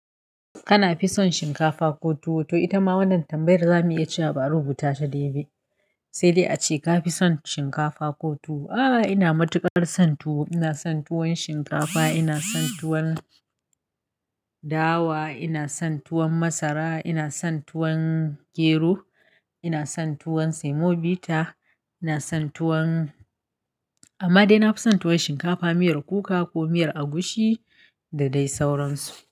Kana fi son shinkafa ko tuwo? To ita ma wannan tambayar zamu iya ci labaru bu ta ta daidai ba. Sai dai ace ka fi son shinkafa ko tuwo? A ina matukar son tuwo ina son tuwor shinkafa ina son tuwon dawa, ina son tuwon masara, ina son tuwon gero, ina son tuwon semobita, ina son tuwon amma dai na fi son tuwon shinkafa miyar kuka ko miyar agushi da dai sauran su.